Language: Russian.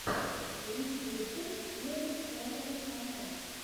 лучший выпуск первый хоррор канал